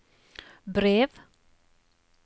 brev